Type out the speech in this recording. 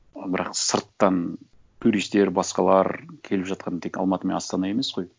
ы бірақ сырттан туристер басқалар келіп жатқан тек алматы мен астана емес қой